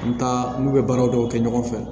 N taa n'u bɛ baaraw dɔw kɛ ɲɔgɔn fɛ